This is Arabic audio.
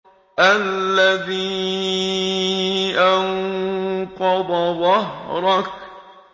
الَّذِي أَنقَضَ ظَهْرَكَ